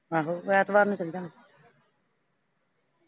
ਆਹੋ ਫਿਰ ਐਤਵਾਰ ਨੂੰ ਚਲੇਜਾਂਗੇ